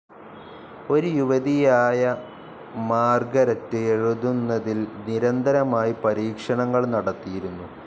ഒരു യുവതിയായ മാർഗരറ്റ് എഴുതുന്നതിൽ നിരന്തരമായി പരീക്ഷണങ്ങൾ നടത്തിയിരുന്നു.